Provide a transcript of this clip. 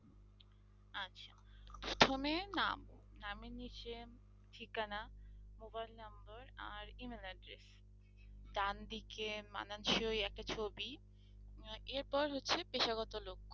প্রথমে নাম নামের নিচে ঠিকানা mobile number আর email address ডানদিকে মানানসই একটা ছবি আহ এরপর হচ্ছে পেশাগত।